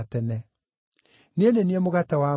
Niĩ nĩ niĩ mũgate wa muoyo.